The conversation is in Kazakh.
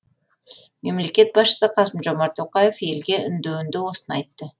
мемлекет басшысы қасым жомарт тоқаев елге үндеуінде осыны айтты